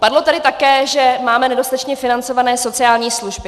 Padlo tady také, že máme nedostatečně financované sociální služby.